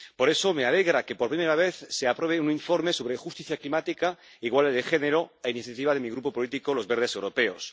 Por eso, me alegra que por primera vez se apruebe un informe sobre justicia climática e igualdad de género, a iniciativa de mi Grupo político, los Verdes europeos.